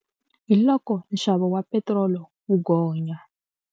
Hi loko nxavo wa petirolo wu gonya.